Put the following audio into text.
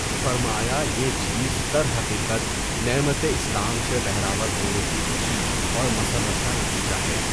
فرمایا یہ چیز درحقیقت نعمتِ اسلام سے بہرہ ور ہونے کی خوشی اور مسرت کا نتیجہ ہے۔